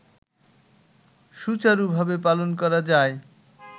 সুচারুভাবে পালন করা যায়